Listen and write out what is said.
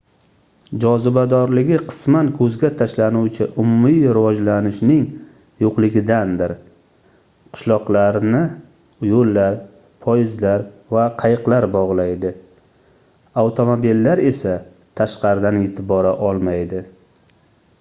jozibadorligi qisman koʻzga tashlanuvchi umumiy rivojlanishningning yoʻqligidandir qishloqlarni yoʻllar poyezdlar va qayiqlar bogʻlaydi avtomobillar esa tashqaridan yetib bora olmaydi